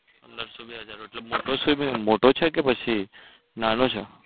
પંદરસો બે હજાર નો એટલે મોટો swimming મોટો છે કે પછી નાનો છે?